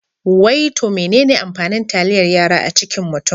Wai to menene amfanin taliyar yara a cikin mutum?